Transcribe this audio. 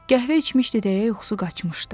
Qəhvə içmişdi, deyə yuxusu qaçmışdı.